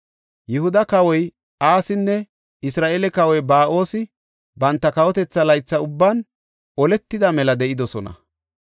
Yihuda kawoy Asinne Isra7eele kawoy Ba7oosi banta kawotetha laytha ubban oletida mela de7idosona.